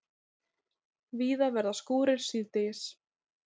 Víða verða skúrir síðdegis